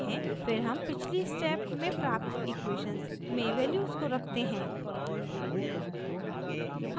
फिर हम पिछली स्टेप में प्राप्त इक्वेशन्स में वैल्यूज़ को रखते हैं